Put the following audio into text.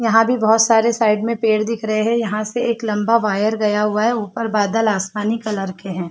यहां भी बहुत सारे साइड में पेड़ दिख रहे हैं यहां से एक लंबा वायर गया हुआ है ऊपर बादल आसमानी कलर के हैं।